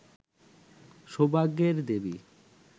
সৌভাগ্যের দেবী